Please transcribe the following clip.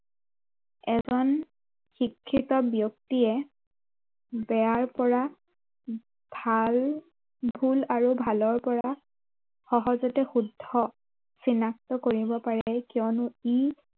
এজন শিক্ষিত ব্য়ক্তিয়ে বেয়াৰ পৰা ভাল ভূল আৰু ভালৰ পৰা সহজতে শুদ্ধ চিনাক্ত কৰিব পাৰে কিয়নো ই